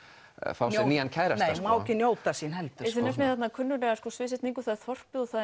fá sér nýjan kærasta Má ekki njóta sín heldur þið nefnið þarna kunnuglega sviðsetningu það er þorpið og